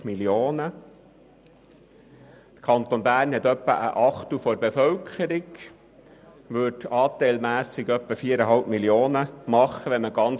Der Kanton Bern zählt etwa ein Achtel der Gesamtbevölkerung und würde somit anteilmässig ungefähr 4,5 Mio. Franken erhalten.